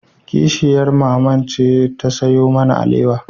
Kishiyar mamanmu ce ta sayo mana alewa